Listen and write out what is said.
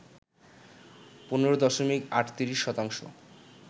১৫ দশমিক ৩৮ শতাংশ